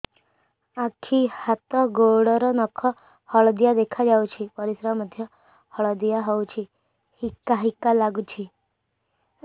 ଆଖି ହାତ ଗୋଡ଼ର ନଖ ହଳଦିଆ ଦେଖା ଯାଉଛି ପରିସ୍ରା ମଧ୍ୟ ହଳଦିଆ ହଉଛି ହିକା ହିକା ଲାଗୁଛି